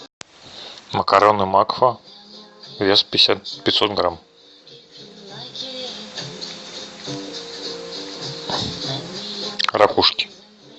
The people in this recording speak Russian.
макароны макфа вес пятьсот грамм ракушки